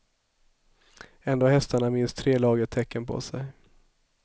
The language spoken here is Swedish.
Ändå har hästarna minst tre lager täcken på sig.